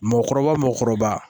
Mɔgɔkɔrɔba mɔgɔkɔrɔba